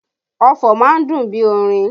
Ọfọ̀ má ń dùn bí orin